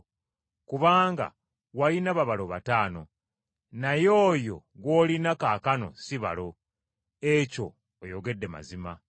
Kubanga walina babalo bataano, naye oyo gw’olina kaakano si balo. Ekyo oyogedde mazima.”